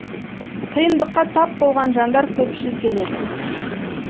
қиындыққа тап болған жандар көпшіл келеді